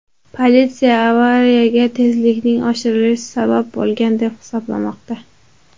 Politsiya avariyaga tezlikning oshirilishi sabab bo‘lgan deb hisoblamoqda.